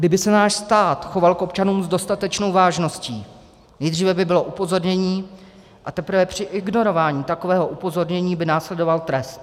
Kdyby se náš stát choval k občanům s dostatečnou vážností, nejdříve by bylo upozornění, a teprve při ignorování takového upozornění by následoval trest.